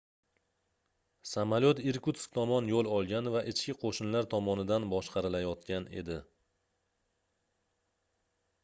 samolyot irkutsk tomon yoʻl olgan va ichki qoʻshinlar tomonidan boshqarilayotgan edi